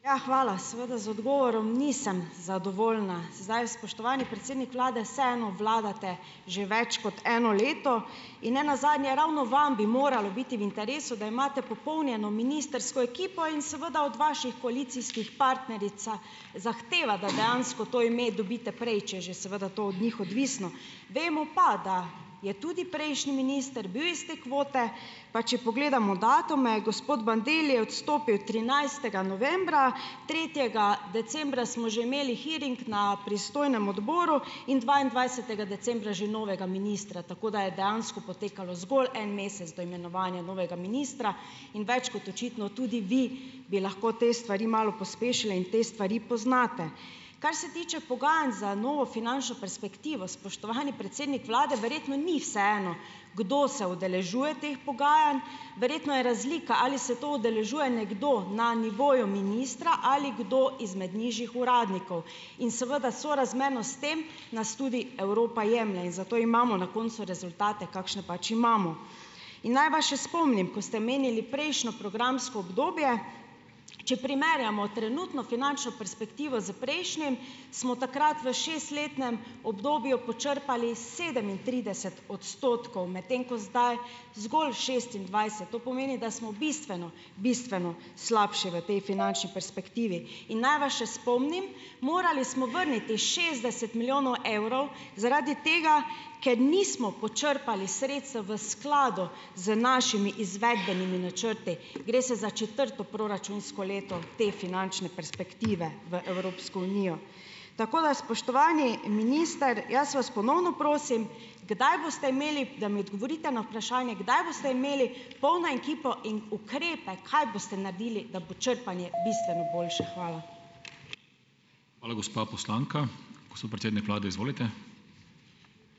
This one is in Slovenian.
Ja, hvala. Seveda, z odgovorom nisem zadovoljna. Zdaj, spoštovani predsednik vlade, vseeno vlagate že več kot eno leto, in ne nazadnje, ravno vam bi moralo biti v interesu, da imate "popolnjeno" ministrsko ekipo in seveda, od vaših koalicijskih partnerica zahteva, da dejansko to ime dobite prej, če je že seveda to od njih odvisno, vemo pa, da je tudi prejšnji minister bil iz te kvote, pa če pogledamo datume, gospod Bandelli je odstopil trinajstega novembra, tretjega decembra smo že imeli hearing na pristojnem odboru in dvaindvajsetega decembra že novega ministra, tako da je dejansko potekalo zgolj en mesec do imenovanja novega ministra, in več kot očitno, tudi vi bi lahko te stvari malo pospešili in te stvari poznate. Kar se tiče pogajanj za novo finančno perspektivo, spoštovani predsednik vlade, verjetno ni vseeno, kdo se udeležuje teh pogajanj. Verjetno je razlika, ali se to udeležuje nekdo, na nivoju ministra ali kdo izmed nižjih uradnikov, in seveda, sorazmerno s tem nas tudi Evropa jemlje in zato imamo na koncu rezultate, kakšne pač imamo. In naj vas še spomnim, ko ste omenili prejšnjo programsko obdobje, če primerjamo trenutno finančno perspektivo s prejšnjim, smo takrat v šestletnem obdobju počrpali sedemintrideset odstotkov, medtem ko zdaj zgolj šestindvajset. To pomeni, da smo bistveno, bistveno slabši v tej finančni perspektivi in naj vas še spomnim, morali smo vrniti šestdeset milijonov evrov, zaradi tega, ker nismo počrpali sredstev v skladu z našimi izvedbenimi načrti. Gre se za četrto proračunsko leto te finančne perspektive v Evropsko unijo. Tako da, spoštovani minister, jaz vas ponovno prosim, kdaj boste imeli, da mi odgovorite na vprašanje, kdaj boste imeli polno ekipo in ukrepe, kaj boste naredili, da bo črpanje bistveno boljše. Hvala.